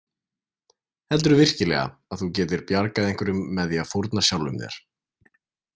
Heldurðu virkilega að þú getir bjargað einhverjum með því að fórna sjálfum þér?